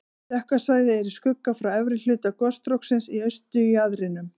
Dökka svæðið er í skugga frá efri hluta gosstróksins í austurjaðrinum.